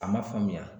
A ma faamuya